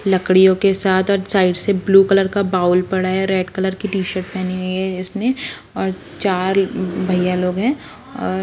लकड़ियों के साथ और साइड से ब्लू कलर का बाउल पड़ा है रेड कलर का टिशर्ट पहनी है इसने और चार भैया लोग है और--